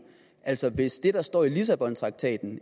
altså hvis det der står i lissabontraktaten